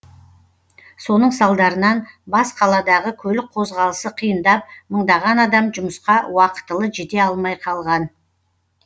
соның салдарынан бас қаладағы көлік қозғалысы қиындап мыңдаған адам жұмысқа уақытылы жете алмай қалған